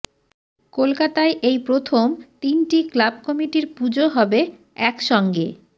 কলকাতায় এই প্রথম তিনটি ক্লাব কমিটির পুজো হবে একসঙ্গে